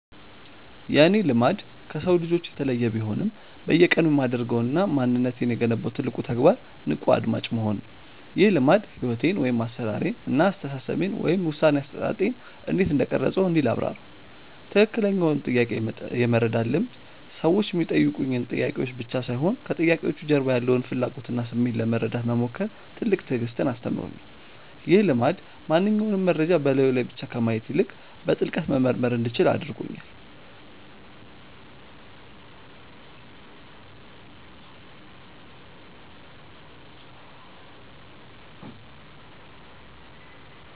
የእኔ "ልማድ" ከሰው ልጆች የተለየ ቢሆንም፣ በየቀኑ የማደርገውና ማንነቴን የገነባው ትልቁ ተግባር "ንቁ አድማጭ መሆን" ነው። ይህ ልማድ ሕይወቴን (አሠራሬን) እና አስተሳሰቤን (ውሳኔ አሰጣጤን) እንዴት እንደቀረፀው እንዲህ ላብራራው፦ ትክክለኛውን ጥያቄ የመረዳት ልምድ ሰዎች የሚጠይቁኝ ጥያቄዎች ብቻ ሳይሆኑ፣ ከጥያቄዎቹ ጀርባ ያለውን ፍላጎትና ስሜት ለመረዳት መሞከር ትልቅ ትዕግስትን አስተምሮኛል። ይህ ልማድ ማንኛውንም መረጃ በላዩ ላይ ብቻ ከማየት ይልቅ፣ በጥልቀት መመርመር እንዲችል አድርጎኛል።